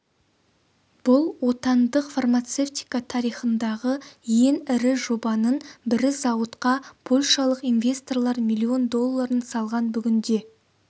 бұл отандық фармацевтика тарихындағы ең ірі жобаның бірі зауытқа польшалық инвесторлар миллион долларын салған бүгінде